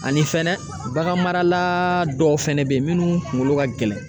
Ani fɛnɛ bagan marala dɔw fɛnɛ be yen minnu kungolo ka gɛlɛn